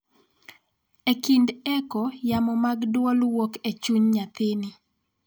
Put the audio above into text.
E kinde echo, yamo mag dwol wuok e chuny nyathini.